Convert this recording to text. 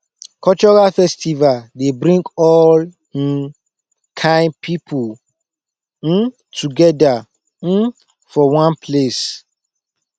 cultural festival dey bring all um kain people um together um for one place